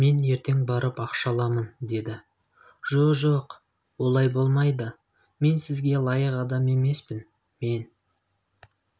мен ертең барып ақша аламын деді жо-жоқ олай болмайды мен сізге лайық адам емеспін мен